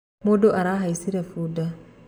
Mũndũ arahaicire bunda